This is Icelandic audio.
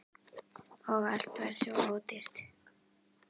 Og allt var svo ódýrt!